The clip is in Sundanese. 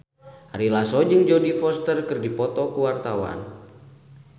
Ari Lasso jeung Jodie Foster keur dipoto ku wartawan